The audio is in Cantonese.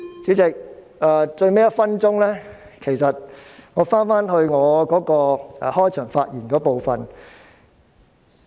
主席，到了發言的最後1分鐘，我回到開場發言的部分。